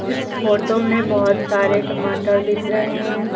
इस फोटो में बहोत सारे टमाटर दिख रहे हैं।